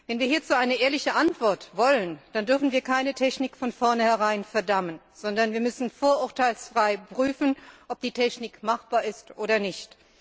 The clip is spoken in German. Wenn wir hierzu eine ehrliche Antwort wollen, dann dürfen wir keine Technik von vornherein verdammen, sondern wir müssen vorurteilsfrei prüfen, ob die Technik machbar ist oder nicht.